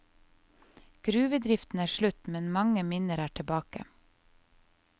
Gruvedriften er slutt, men mange minner er tilbake.